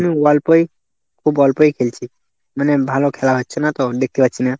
খুব অল্পই খুব অল্পই খেলছি, মানে ভালো খেলা হচ্ছে না তো, দেখতে পাচ্ছি না।